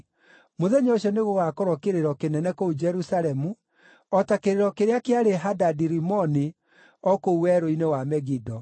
Mũthenya ũcio nĩgũgakorwo kĩrĩro kĩnene kũu Jerusalemu, o ta kĩrĩro kĩrĩa kĩarĩ Hadadi-Rimoni o kũu werũ-inĩ wa Megido.